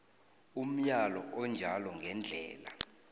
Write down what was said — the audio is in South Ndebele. umyalo onjalo ngendlela